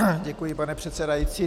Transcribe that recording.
Děkuji, pane předsedající.